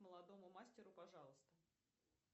молодому мастеру пожалуйста